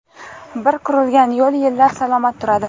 Bir qurilgan yo‘l yillab salomat turadi.